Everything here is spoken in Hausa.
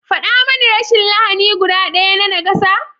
Faɗa mani rashin lahani guda ɗaya na nakasa?